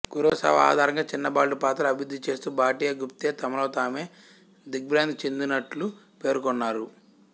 Kurosawa ఆధారంగా చిన్నబాలుడి పాత్ర అభివృద్ధిచేస్తూ భాటియా గుప్తే తమలో తామే దిగ్బ్రమచెందినట్లు పేర్కొన్నారు